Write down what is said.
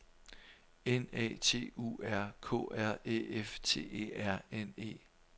N A T U R K R Æ F T E R N E